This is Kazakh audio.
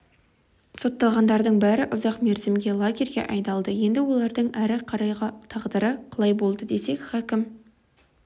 сотталғандардың бәрі ұзақ мерзімге лагерьге айдалды енді олардың әрі қарайғы тағдыры қалай болды десек хакім